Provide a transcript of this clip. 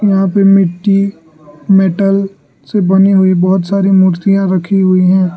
यहां पे मिट्टी मेटल से बनी हुई बहुत सारी मूर्तियां रखी हुई है।